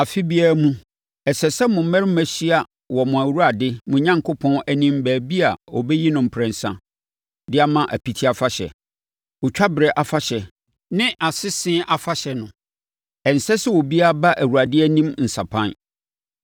Afe biara mu, ɛsɛ sɛ mo mmarima hyia wɔ mo Awurade, mo Onyankopɔn anim baabi a ɔbɛyi no mprɛnsa de ma Apiti Afahyɛ, Otwa berɛ Afahyɛ ne Asese Afahyɛ no. Ɛnsɛ sɛ obiara ba Awurade anim nsapan.